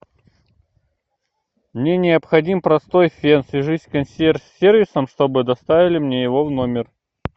мне необходим простой фен свяжись с консьерж сервисом что бы доставили мне его в номер